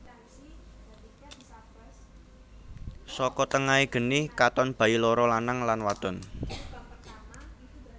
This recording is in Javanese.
Saka tengahé geni katon bayi loro lanang lan wadon